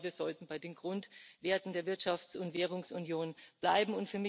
Ich glaube, wir sollten bei den Grundwerten der Wirtschafts und Währungsunion bleiben.